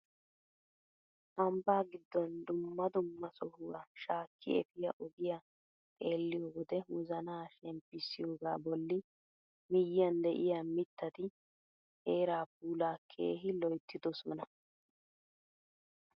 Ambbaa giddon dumma dumma sohuwaa shaakki efiyaa ogiyaa xeelliyoo wode wozanaa shemmpisiyooga bolli miyiyaan de'iyaa mittati heeraa puulaa keehi loyttidosona!